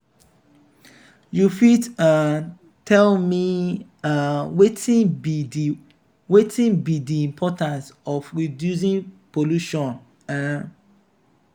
you fit um tell me um wetin be di wetin be di importance of reducing pollution? um